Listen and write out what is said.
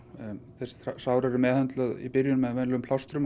þau sár eru meðhöndluð í byrjun með venjulegum plástrum